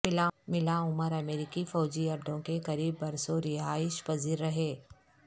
ملا عمر امریکی فوجی اڈوں کے قریب برسوں رہائش پذیر رہے